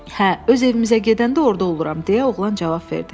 Hə, öz evimizə gedəndə orda oluram, deyə oğlan cavab verdi.